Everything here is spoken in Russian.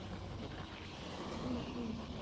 дунъин